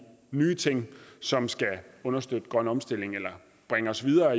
nye ting som skal understøtte grøn omstilling eller bringe os videre